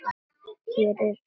Hér er ekki sála.